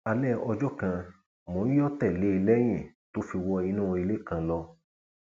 alẹ ọjọ kan mò ń yọ tẹlé e lẹyìn tó fi wọ inú ilé kan lọ